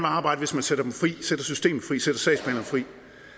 arbejde hvis man sætter dem fri sætter systemet fri